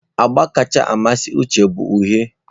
Agba kacha amasị Uche bụ uhie.